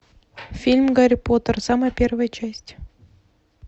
фильм гарри поттер самая первая часть